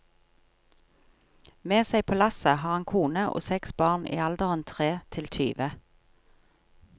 Med seg på lasset har han kone og seks barn i alderen tre til tyve.